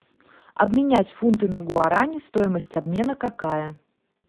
обменять фунты на гуарани стоимость обмена какая